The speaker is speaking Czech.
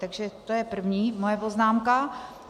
Takže to je první moje poznámka.